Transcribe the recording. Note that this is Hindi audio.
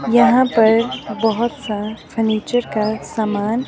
यहां पर बहुत सा फर्नीचर का समान--